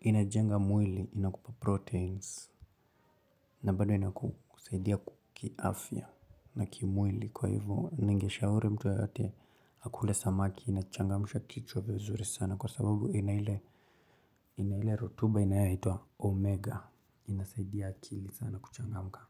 Inajenga mwili, inakupa proteins. Na bado inakusaidia kiafya. Na ki mwili kwa hivyo ningeshauri mtu yeyote akule samaki inachangamsha kichwa vizuri sana kwa sababu ina ile rotuba inayaitwa omega inasaidia akili sana kuchangamka.